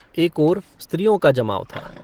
एक ओर स्त्रियों का जमाव था।